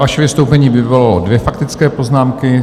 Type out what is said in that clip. Vaše vystoupení vyvolalo dvě faktické poznámky.